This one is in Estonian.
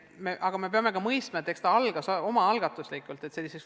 Aga me peame mõistma ka seda, et see kool alustas omaalgatuslikult.